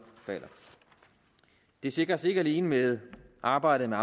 falder det sikres ikke alene med arbejdet